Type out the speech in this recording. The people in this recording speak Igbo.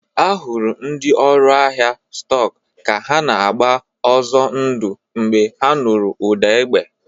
A hụrụ ndị ọrụ ahịa stọk ka ha na-agba ọzọ ndụ mgbe ha nụrụ ụda egbe.